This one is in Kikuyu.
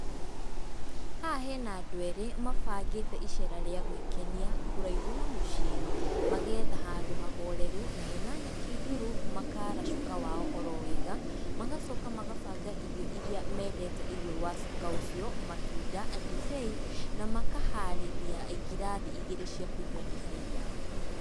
Haha hena andũ erĩ mabangĩte icera rĩa gwĩkenia, kũraihu na mũciĩ, mageetha handũ hahoreru na hena nyeki nduru makara cuka wao oro wega. Magacoka magabanga irio iria mendete igũrũ rĩa cuka ũcio, matunda, ndibei na makaharĩria ngirathi igĩrĩ cia kũnyua ndibei yao.